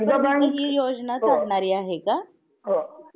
Bank दीर्घ काळ पर्यंत हि योजना चालणारी आहे का?